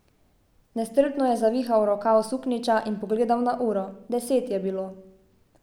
Nestrpno je zavihal rokav suknjiča in pogledal na uro, deset je bilo.